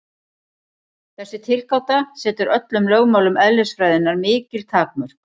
Þessi tilgáta setur öllum lögmálum eðlisfræðinnar mikil takmörk.